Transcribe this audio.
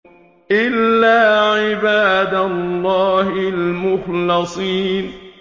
إِلَّا عِبَادَ اللَّهِ الْمُخْلَصِينَ